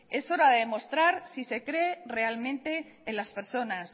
es horade demostrar si se cree realmente en las personas